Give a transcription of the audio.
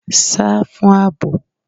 Sá fún àbò.!